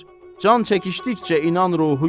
can çəkişdikcə inan ruhu gülər.